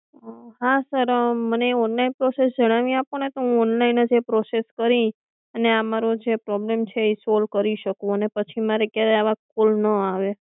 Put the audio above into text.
હા સર મને online process જણાવી આપોને તો હું ઓનલાઇન જ એ પ્રોસેસ કરી અને મારો પ્રોબ્લેમ છે એ સોલ કરી શકું અને પછી મારે ક્યારે આવા કોલ ન આવે